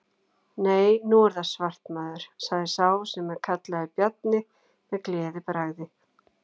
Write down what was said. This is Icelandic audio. Nei, nú er það svart maður, sagði sá sem var kallaður Bjarni, með gleðibragði.